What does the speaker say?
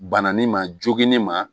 Bananin ma joginin ma